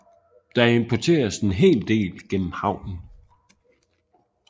Der importeres en hel del gennem havnen